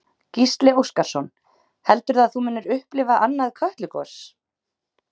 Gísli Óskarsson: Heldurðu að þú munir upplifa annað Kötlugos?